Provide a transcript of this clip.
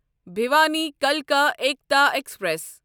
بھیوانی کلکا ایٖکتا ایکسپریس